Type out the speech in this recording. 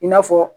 I n'a fɔ